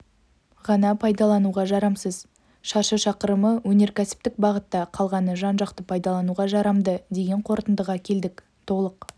ғана пайдалануға жарамсыз шаршы шақырымы өнеркәсіптік бағытта қалғаны жан-жақты пайдалануға жарамды деген қортындыға келдік толық